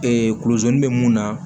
kulɛri bɛ mun na